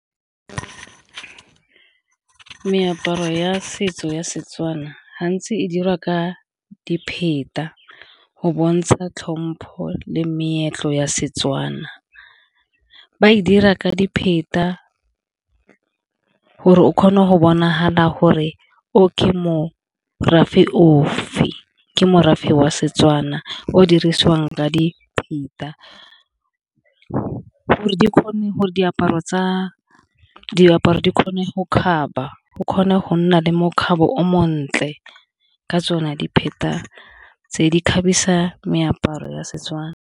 Meaparo ya setso ya Setswana gantsi e dira ka go bontsha tlhompho le meetlo ya Setswana, ba e dira ka gore o kgone go bonagala gore o ka mo morafe ofe ke morafe wa Setswana o dirisiwang ka . Gore di kgone gore diaparo di kgone go kgaba o kgone go nna le mokgatlho o montle ka tsone tse di kgabisa meaparo ya Setswana.